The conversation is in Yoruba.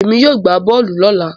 Èmi yóò gbá bọ́ọ̀lù lọ́la